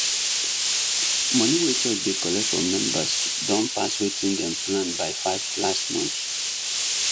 money wey church dey collect from members don pass wetin dem plan by 5 last month